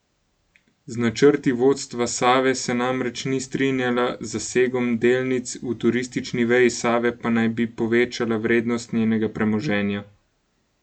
Z načrti vodstva Save se namreč ni strinjala, z zasegom delnic v turistični veji Save pa naj bi povečala vrednost njenega premoženja.